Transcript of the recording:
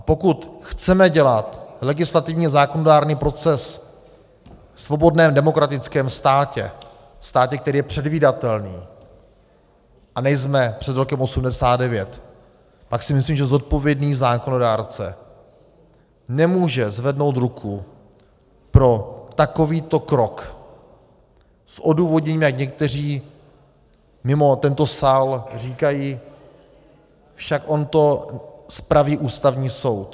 A pokud chceme dělat legislativně zákonodárný proces ve svobodném demokratickém státě, státě, který je předvídatelný, a nejsme před rokem 1989, pak si myslím, že zodpovědný zákonodárce nemůže zvednout ruku pro takovýto krok s odůvodněním, jak někteří mimo tento sál říkají, však on to spraví Ústavní soud.